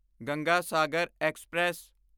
Ganga Sagar express